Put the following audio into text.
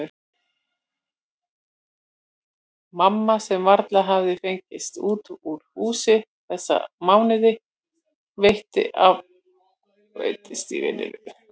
Mamma sem varla hafði fengist út úr húsi þessa síðustu mánuði, rétt skreiddist í vinnuna-?